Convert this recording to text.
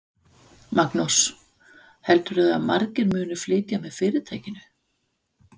Magnús: Heldurðu að margir muni flytja með fyrirtækinu?